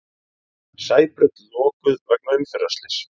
Sæbraut lokuð vegna umferðarslyss